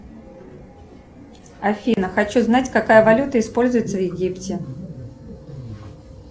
афина хочу знать какая валюта используется в египте